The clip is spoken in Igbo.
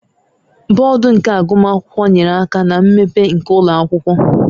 Board nke agụmakwụkwọ nyere aka na mmepe nke ụlọ akwụkwọ